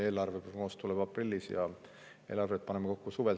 Eelarveprognoos tuleb aprillis ja eelarvet paneme kokku suvel.